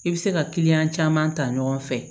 I bɛ se ka kiliyan caman ta ɲɔgɔn fɛ